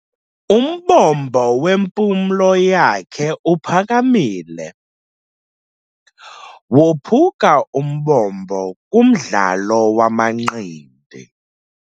Umbombo wempumlo yakhe uphakamile. Wophuka umbombo kumdlalo wamanqindi.